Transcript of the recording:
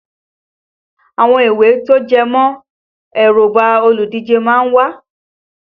Àwọn ìwé tó jẹmọ́ èróngbà olùdíje má ń wà